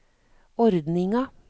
ordninga